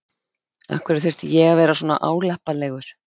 Af hverju þurfti ég að vera svona álappalegur?